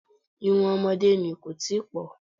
Irun ọmọdé ni, kò tíì pọ̀.